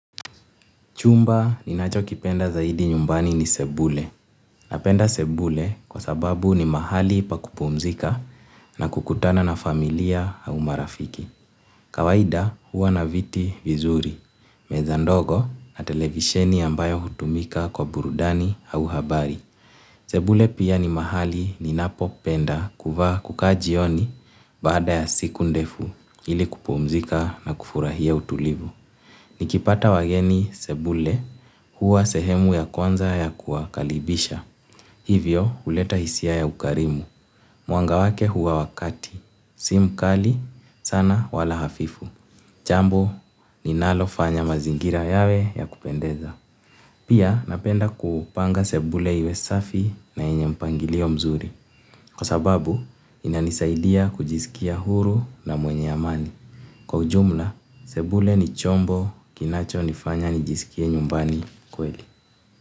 Chumba ni nacho kipenda zaidi nyumbani ni sebule. Napenda sebule kwa sababu ni mahali pa kupumzika na kukutana na familia au marafiki. Kawaida huwa na viti vizuri, meza ndogo na televisheni ambayo hutumika kwa burudani au habari. Sebule pia ni mahali ninapopenda kukaa jioni baada ya siku ndefu ili kupumzika na kufurahia utulivu. Nikipata wageni sebule huwa sehemu ya kwanza ya kuwakaribisha. Hivyo huleta hisia ya ukarimu. Muanga wake huwa wa kati. Si mkali sana wala hafifu. Jambo ninalo fanya mazingira yawe ya kupendeza. Pia napenda kupanga sebule iwe safi na yenye mpangilio mzuri. Kwa sababu inanisaidia kujiskia huru na mwenye amani. Kwa ujumla, sebule ni chombo kinacho nifanya nijiskie nyumbani kweli.